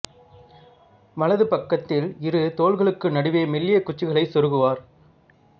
வலது பக்கத்தில் இரு தோல்களுக்கு நடுவே மெல்லியக் குச்சிகளை சொருகுவர்